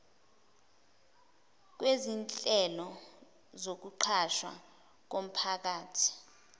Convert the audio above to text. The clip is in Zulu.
kwezinhlelo zokuqashwa komphakathi